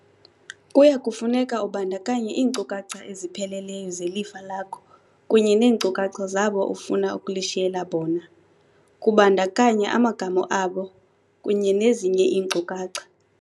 Kuya kufuneka ubandakanye iinkcukacha ezipheleleyo zelifa lakho kunye neenkcukacha zabo ufuna ukulishiyela bona, kubandakanya amagama abo kunye nezinye iinkcukacha.